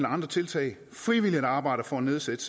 og andre tiltag frivilligt arbejder for at nedsætte